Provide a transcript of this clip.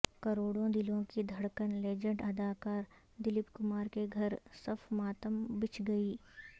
کروڑوں دلوں کی دھڑکن لیجنڈ اداکار دلیپ کمار کے گھر صف ماتم بچھ گئی